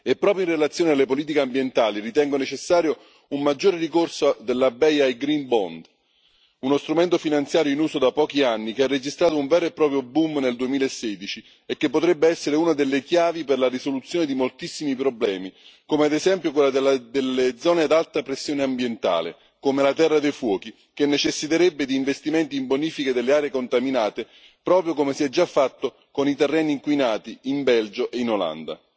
Proprio in relazione alle politiche ambientali, ritengo necessario un maggiore ricorso della BEI ai Green Bond uno strumento finanziario in uso da pochi anni che ha registrato un vero e proprio boom nel 2016 e che potrebbe essere una delle chiavi per la risoluzione di moltissimi problemi, come ad esempio quelli delle zone ad alta pressione ambientale, come la Terra dei fuochi, che necessiterebbe di investimenti in bonifica delle aree contaminate, proprio come si è già fatto con i terreni inquinati in Belgio e in Olanda.